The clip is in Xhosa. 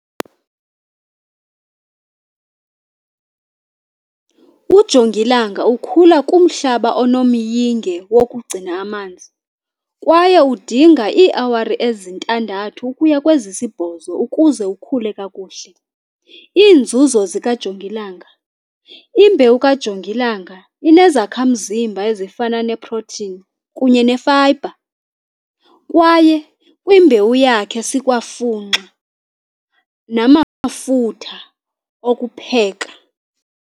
Ujongilanga ukhula kumhlaba onomyinge wokugcina amanzi kwaye udinga iiawari ezintandathu ukuya kwezisibhozo ukuze ukhule kakuhle. Iinzuzo zikajongilanga imbewu kajongilanga inezakhamzimba ezifana neprothini kunye nefayibha kwaye kwimbewu yakhe sikwafunxa namafutha okupheka.